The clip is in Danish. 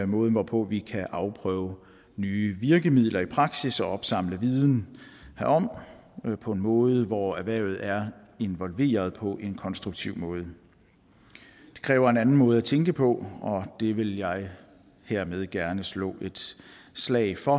måden hvorpå vi kan afprøve nye virkemidler i praksis og opsamle viden herom på en måde hvor erhvervet er involveret på en konstruktiv måde det kræver en anden måde at tænke på og det vil jeg hermed gerne slå et slag for